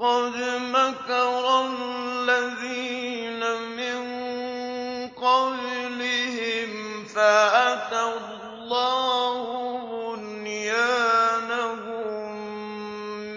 قَدْ مَكَرَ الَّذِينَ مِن قَبْلِهِمْ فَأَتَى اللَّهُ بُنْيَانَهُم